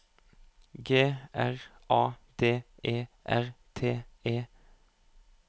G R A D E R T E